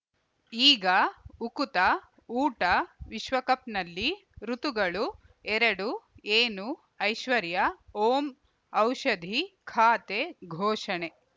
ಈಗ ಉಕುತ ಊಟ ವಿಶ್ವಕಪ್‌ನಲ್ಲಿ ಋತುಗಳು ಎರಡು ಏನು ಐಶ್ವರ್ಯಾ ಓಂ ಔಷಧಿ ಖಾತೆ ಘೋಷಣೆ